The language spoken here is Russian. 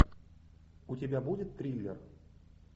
у тебя будет триллер